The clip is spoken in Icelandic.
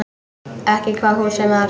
Ekki hvaða húsi sem var.